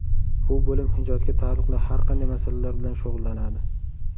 Bu bo‘lim ijodga taalluqli har qanday masalalar bilan shug‘ullanadi.